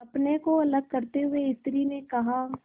अपने को अलग करते हुए स्त्री ने कहा